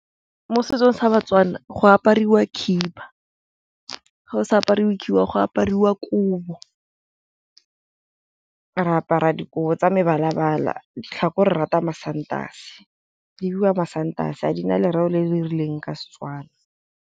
Mo setsong sa ba-Tswana go apariwa khiba, ga o sa apariwe khiba go apariwa kobo. Re apara dikobo tsa mebala-bala, ditlhako re rata masantase di biwa masantase dina lereo le le rileng ka Setswana.